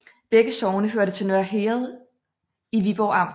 Begge sogne hørte til Nørre Herred i Viborg Amt